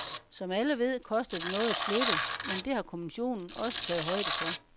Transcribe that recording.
Som alle ved, koster det noget at flytte, men det har kommissionen også taget højde for.